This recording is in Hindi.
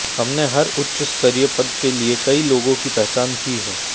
हमने हर उच्च स्तरीय पद के लिए कई लोगों की पहचान की है